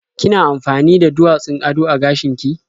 Kina amfani da duwatsun ado a gashin ki?